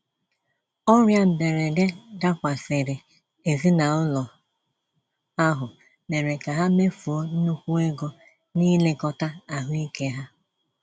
Ọrịa mberede dakwasịrị ezinaụlọ ahụ mèrè ka ha mefuo nnukwu ego nilekota ahụike ha.